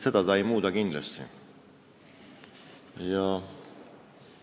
Seda see pakett kindlasti ei muuda.